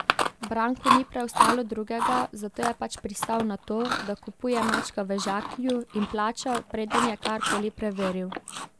Branku ni preostalo drugega, zato je pač pristal na to, da kupuje mačka v žaklju, in plačal, preden je karkoli preveril.